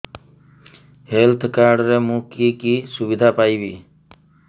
health card ରେ ମୁଁ କି କି ସୁବିଧା ପାଇବି